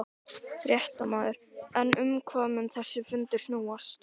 Fréttamaður: En um hvað mun þessi fundur snúast?